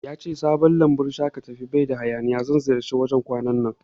Yace sabon lambun shaƙatawan baida hayaniya, zan ziyarci wajan kwanan nan